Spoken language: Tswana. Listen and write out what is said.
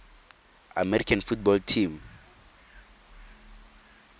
american football team